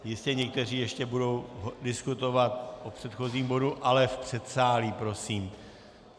Jistě někteří ještě budou diskutovat o předchozím bodu, ale v předsálí prosím.